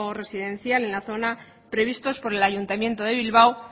residencial en la zona previstos por el ayuntamiento de bilbao